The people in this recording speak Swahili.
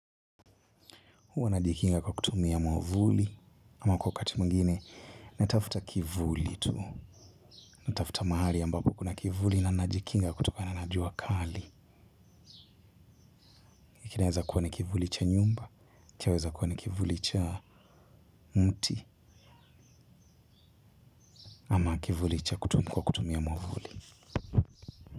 Huwa najikinga kwa kutumia mwavuli. Ama kwa wakati mwingine, natafuta kivuli tu. Natafuta mahali ambapo kuna kivuli na najikinga kutokana na jua kali. Kinaeza kuwa ni kivuli cha nyumba. Chaweza kuwa ni kivuli cha mti. Ama kivuli kwa kutumia mwavuli.